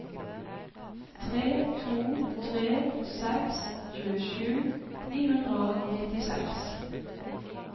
tre to tre seks tjuesju ni hundre og nittiseks